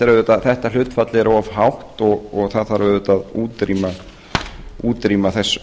viðmiðunum þetta hlutfall er of hátt og það þarf auðvitað að útrýma þessu